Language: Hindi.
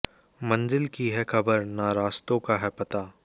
मंजिल की है ख़बर न रास्तों का है पता